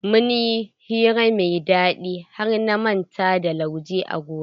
Mun yi hira mai daɗi har na manta da lauje a gona.